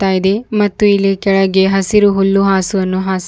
ಇದೆ ಮತ್ತು ಇಲ್ಲಿ ಕೆಳಗೆ ಹಸಿರು ಹುಲ್ಲು ಹಾಸನ್ನು ಹಾಸ--